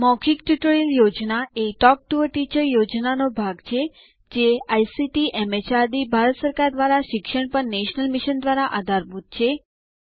મૌખિક tutorial project એ talk to a teacher પ્રોજેક્ટનો ભાગ છેજે આઇસીટીએમએચઆરડીભારત સરકાર દ્વારા શિક્ષણ પર નેશનલ મિશન દ્વારા આધારભૂત છે